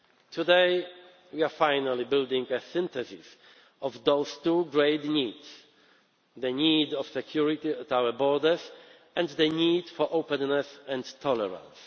of openness. Today we are finally building a synthesis of those two great needs the need for security at our borders and the need for openness